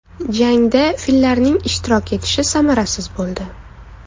Jangda fillarning ishtirok etishi samarasiz bo‘ldi.